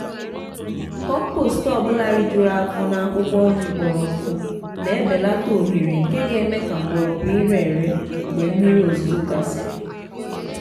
kọmpost ọbụla ri juru afo n' akwukwo nri kpọrọ nku n'belata ohere nke ga eme ka mgbọrọgwụ ire ere mgbe mmiri ozuzo gasịrị.